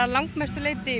mestu leyti